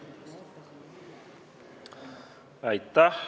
Aitäh!